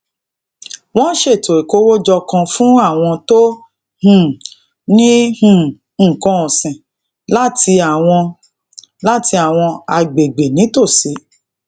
wón ṣètò ikowojo kan fún àwọn tó um ní um nnkan òsìn láti àwọn láti àwọn agbegbe nítòsí